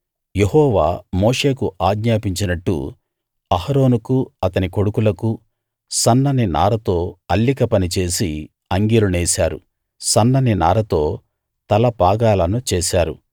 యెహోవా మోషేకు ఆజ్ఞాపించినట్టు అహరోనుకు అతని కొడుకులకు సన్నని నారతో అల్లిక పని చేసి అంగీలు నేశారు సన్నని నారతో తలపాగాలను చేసారు